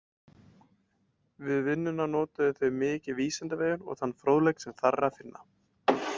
Við vinnuna notuðu þau mikið Vísindavefinn og þann fróðleik sem þar er að finna.